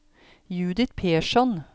Judith Persson